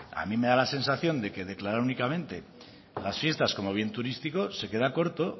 a mí me da la sensación de que declarar únicamente las fiestas como bien turístico se queda corto